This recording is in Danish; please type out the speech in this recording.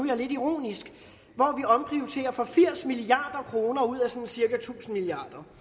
jeg lidt ironisk at for firs milliard kroner ud af sådan cirka tusind milliard